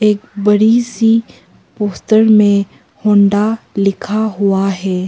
एक बड़ी सी पोस्टर में होंडा लिखा हुआ है।